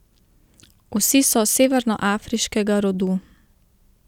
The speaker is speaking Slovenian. Vsi so severnoafriškega rodu.